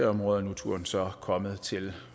områder og nu er turen så kommet til